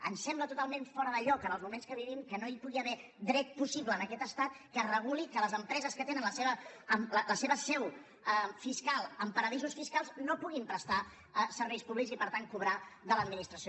em sembla totalment fora de lloc en els moments que vivim que no hi pugui haver dret possible en aquest estat que reguli que les empreses que tenen la seva seu fiscal en paradisos fiscals no puguin prestar serveis públics i per tant cobrar de l’administració